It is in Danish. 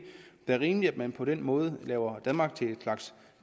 er rimeligt altså at man på den måde gør danmark til en slags